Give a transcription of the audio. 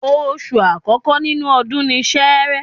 Oṣù àkọ́kọ́ nínú ọdún ni Sẹẹrẹ